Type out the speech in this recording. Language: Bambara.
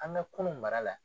An ka kurun mara la.